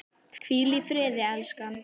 Hvíl í friði, elskan!